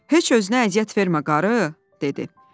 “Heç özünə əziyyət vermə, qarı,” dedi.